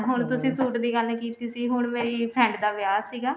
ਹੁਣ ਤੁਸੀਂ suit ਦੀ ਗੱਲ ਕੀਤੀ ਸੀ ਹੁਣ ਮੇਰੀ friend ਦਾ ਵਿਆਹ ਸੀਗਾ